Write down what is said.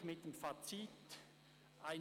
Ich gehe mit seinem Fazit einig: